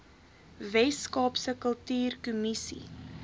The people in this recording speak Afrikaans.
wes kaapse kultuurkommissie